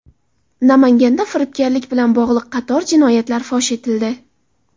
Namanganda firibgarlik bilan bog‘liq qator jinoyatlar fosh etildi.